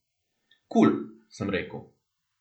Kul, sem rekel.